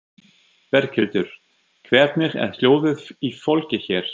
Berghildur: Hvernig er hljóðið í fólki hér?